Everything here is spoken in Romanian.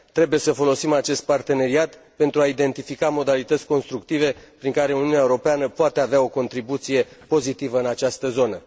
Trebuie să folosim acest parteneriat pentru a identifica modalități constructive prin care Uniunea Europeană poate avea o contribuție pozitivă în această zonă.